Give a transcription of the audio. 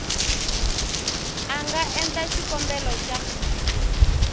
a nga endla xikombelo xa